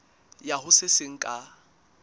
ya ho se seng ka